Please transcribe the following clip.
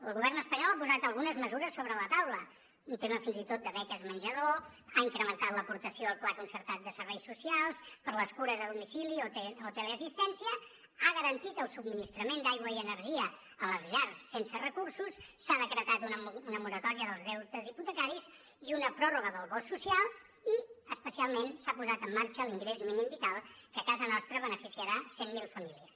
el govern espanyol ha posat algunes mesures sobre la taula un tema fins i tot de beques menjador ha incrementat l’aportació al pla concertat de serveis socials per a les cures a domicili o teleassistència ha garantit el subministrament d’aigua i energia a les llars sense recursos s’ha decretat una moratòria dels deutes hipotecaris i una pròrroga del bo social i especialment s’ha posat en marxa l’ingrés mínim vital que a casa nostra beneficiarà cent mil famílies